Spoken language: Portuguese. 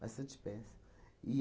Bastante espécie.